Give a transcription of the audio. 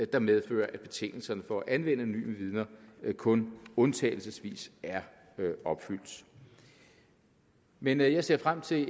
der medfører at betingelserne for at anvende anonyme vidner kun undtagelsesvis er opfyldt men jeg ser frem til